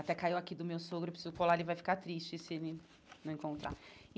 Até caiu aqui do meu sogro, preciso colar, ele vai ficar triste se ele não encontrar.